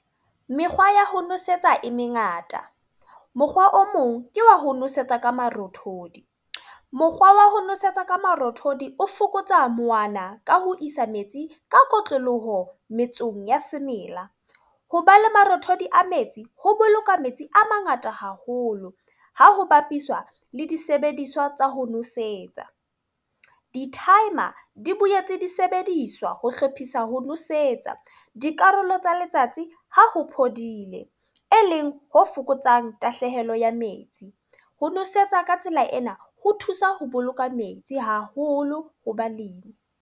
Mekgwa ya ho nosetsa e mengata. Mokgwa o mong, ke wa ho nosetsa ka marothodi. Mokgwa wa ho nosetsa ka marothodi o fokotsa mowana ka ho isa metsi ka kotloloho metsong ya semela. Ho ba le marothodi a metsi, ho boloka metsi a mangata haholo ha ho bapiswa le disebediswa tsa ho nosetsa. Di-timer di boetse di sebediswa ho hlophisa ho nosetsa dikarolo tsa letsatsi ho ho phodile. E leng ho fokotsang tahlehelo ya metsi. Ho nosetsa ka tsela ena, ho thusa ho boloka metsi haholo ho balemi.